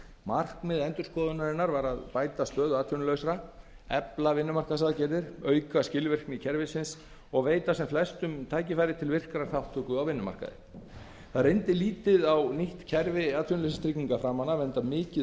markmið endurskoðunarinnar var að bæta stöðu atvinnulausra efla vinnumarkaðsaðgerðir auka skilvirkni kerfisins og veita sem flestum tækifæri til virkrar þátttöku á vinnumarkaði það reyndi lítið á nýtt kerfi framan af enda mikið